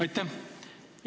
Aitäh!